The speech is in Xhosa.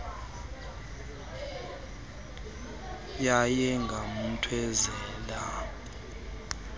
yelanga umtuze uvele